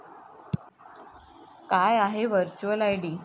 काय आहे virtual ID?